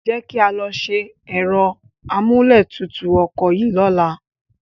Jẹ́ kí a lọ ṣe ẹ̀rọ amúlétutù ọkọ̀ yìí lọ́la.